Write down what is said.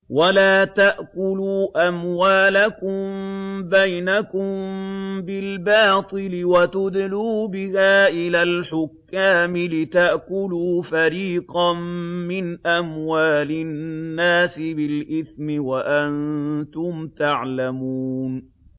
وَلَا تَأْكُلُوا أَمْوَالَكُم بَيْنَكُم بِالْبَاطِلِ وَتُدْلُوا بِهَا إِلَى الْحُكَّامِ لِتَأْكُلُوا فَرِيقًا مِّنْ أَمْوَالِ النَّاسِ بِالْإِثْمِ وَأَنتُمْ تَعْلَمُونَ